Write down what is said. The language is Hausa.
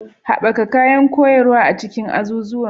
Haɓaka kayan koyarwa a cikin azuzuwan